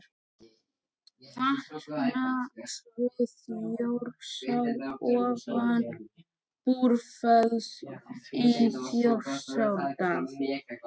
Vatnasvið Þjórsár ofan Búrfells í Þjórsárdal.